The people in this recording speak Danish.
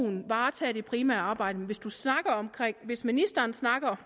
varetage det primære arbejde men hvis ministeren snakker